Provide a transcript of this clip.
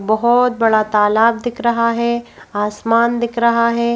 बहुत बड़ा तालाब दिख रहा है आसमान दिख रहा है।